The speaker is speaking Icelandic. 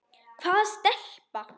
Hvaða stelpa?